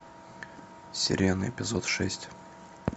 сирены эпизод шесть